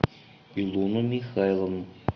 илону михайловну